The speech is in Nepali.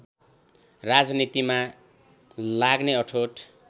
राजनीतिमा लाग्ने अठोट